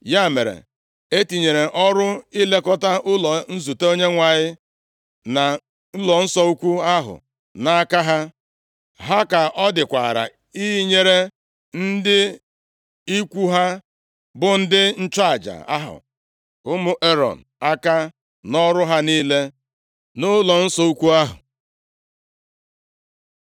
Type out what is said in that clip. Ya mere, e tinyere ọrụ ilekọta ụlọ nzute Onyenwe anyị, na ụlọnsọ ukwu ahụ nʼaka ha. Ha ka ọ dịkwara inyere ndị ikwu ha, bụ ndị nchụaja ahụ, ụmụ Erọn, aka nʼọrụ ha niile nʼụlọnsọ ukwu ahụ.